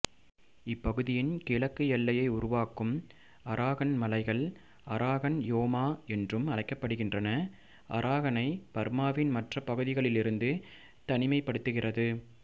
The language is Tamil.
இப்பகுதியின் கிழக்கு எல்லையை உருவாக்கும் அராகன் மலைகள் அரகான் யோமா என்றும் அழைக்கப்படுகின்றன அரகானை பர்மாவின் மற்ற பகுதிகளிலிருந்து தனிமைப்படுத்துகிறது